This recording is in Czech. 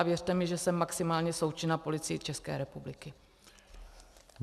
A věřte mi, že jsem maximálně součinná Policii České republiky.